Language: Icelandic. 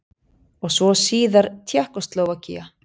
Og svo síðar Tékkóslóvakía.